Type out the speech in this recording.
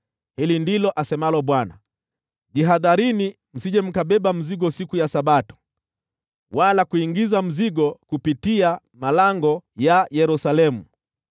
Hili ndilo asemalo Bwana : Jihadharini msije mkabeba mzigo siku ya Sabato, wala kuingiza mzigo kupitia malango ya Yerusalemu.